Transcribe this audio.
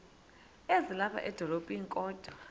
ezilapha edolophini kodwa